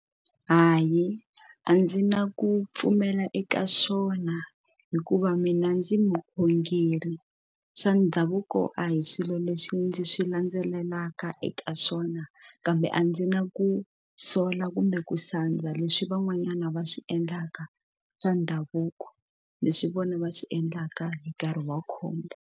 Hayi a ndzi na ku pfumela eka swona hikuva mina ndzi mukhongeri swa ndhavuko a hi swilo leswi ndzi swi landzelelaka eka swona kambe a ndzi nga ku sola kumbe ku sandza leswi van'wanyana va swi endlaka swa ndhavuko leswi vona va swi endlaka hi nkarhi wa khombo.